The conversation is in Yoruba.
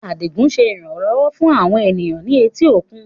Adigun ṣe iranlọwọ fun awọn eniyan ni eti okun